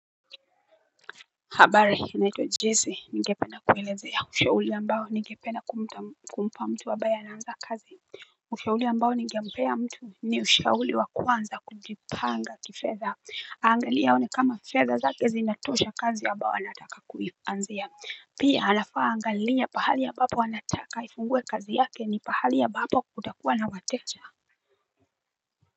Habari naitwa Jesse ningependa kuelezea ushauri ambao ningepeana kumpa mtu ambaye anaanza kazi Ushauri ambao ningempea mtu ni ushauri wa kwanza kujipanga kifedha Angali aone kama fedha zake zinatosha kazi ambayo anataka kuianzia Pia anafaa aangalie pahali ambapo anataka aifungue kazi yake ni pahali ambapo kutakuwa na wateja.